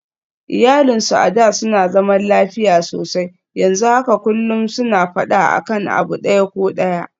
Iyalinsu a da suna zaman lafiya sosai, yanzu haka kullum suna faɗa akan abu ɗaya ko ɗaya